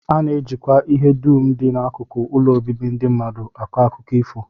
A na-ejikwa ihe dum dị n'akụkụ ụlọ obibi ndị mmadụ akọ akụkọ ifo